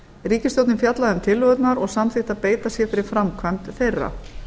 ríkisstjórnin fjallaði um tillögurnar og samþykkti að beita sér fyrir framkvæmd þeirra